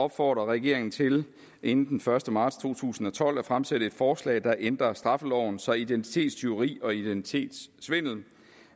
opfordrer regeringen til inden den første marts to tusind og tolv at fremsætte et forslag der ændrer straffeloven så identitetstyveri og identitetssvindel